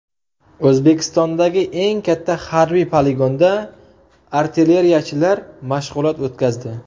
O‘zbekistondagi eng katta harbiy poligonda artilleriyachilar mashg‘ulot o‘tkazdi .